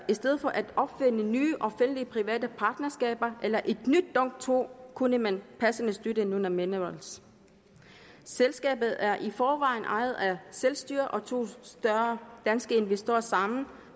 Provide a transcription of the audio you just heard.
i stedet for at opfinde nye offentligt private partnerskaber eller et nyt dong to kunne man passende støtte nunaminerals selskabet er i forvejen ejet af selvstyret og to større danske investorer sammen